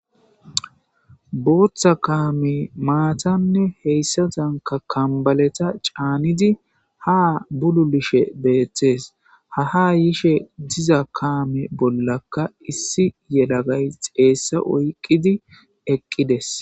Booththa kaami maatanne heyssatanka kambaleta caanidi ha bulu lishe beethtes ha ha yishe diza kaame bollaka issi yelagay xeessa oyqqidi eqqides